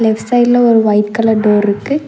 Left சைட்ல ஒரு white colour டோர்ருக்கு .